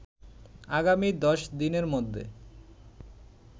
আগামী ১০ দিনের মধ্যে